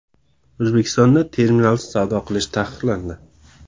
O‘zbekistonda terminalsiz savdo qilish taqiqlandi .